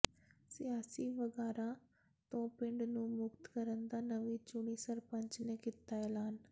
ਸਿਆਸੀ ਵਗਾਰਾਂ ਤੋਂ ਪਿੰਡ ਨੂੰ ਮੁਕਤ ਕਰਨ ਦਾ ਨਵੀਂ ਚੁਣੀ ਸਰਪੰਚ ਨੇ ਕੀਤਾ ਐਲਾਨ